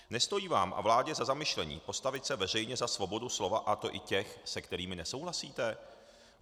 Nestojí vám a vládě za zamyšlení, postavit se veřejně za svobodu slova, a to i těch, s kterými nesouhlasíte?